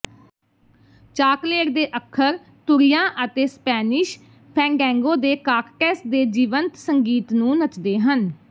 chocolate ਦੇ ਅੱਖਰ ਤੁਰ੍ਹੀਆਂ ਅਤੇ ਸਪੈਨਿਸ਼ ਫੈਂਡੈਂਗੋ ਦੇ ਕਾਸਟੈਟਸ ਦੇ ਜੀਵੰਤ ਸੰਗੀਤ ਨੂੰ ਨੱਚਦੇ ਹਨ